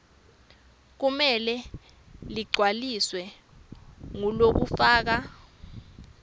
kumele ligcwaliswe ngulofaka